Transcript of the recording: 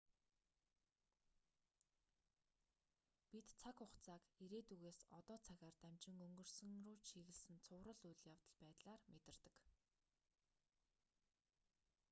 бид цаг хугацааг ирээдүйгээс одоо цагаар дамжин өнгөрсөн рүү чиглэсэн цуврал үйл явдал байдлаар мэдэрдэг